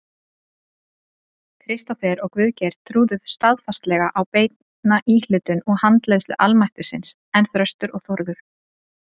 Kristófer og Guðgeir trúðu staðfastlega á beina íhlutun og handleiðslu almættisins, en Þröstur og Þórður